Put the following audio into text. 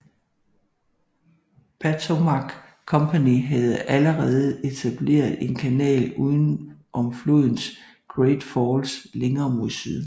Patowmac Company havde allerede etableret en kanal uden om flodens Great Falls længere mod syd